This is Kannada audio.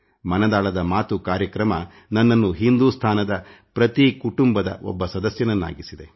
ಮನದಾಳದ ಮಾತು ಕಾರ್ಯಕ್ರಮ ನನ್ನನ್ನು ಹಿಂದೂಸ್ತಾನದ ಪ್ರತಿ ಕುಟುಂಬದ ಒಬ್ಬ ಸದಸ್ಯನನ್ನಾಗಿಸಿದೆ